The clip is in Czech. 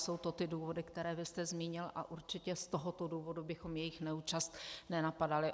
Jsou to ty důvody, které vy jste zmínil, a určitě z tohoto důvodu bychom jejich neúčast nenapadali.